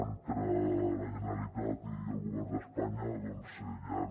entre la generalitat i el govern d’espanya doncs hi ha